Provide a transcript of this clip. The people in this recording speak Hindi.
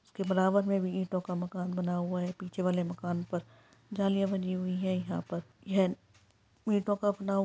उसके बराबर में भी ईटों का मकान बना हुआ है पीछे वाले मकान पर जालियां बनी हुई है यहां पर यह ईंटों का बना हुआ --